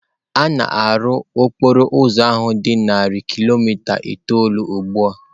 A na-arụ okporo ụzọ ahụ dị narị kilomita itoolu ugbu a.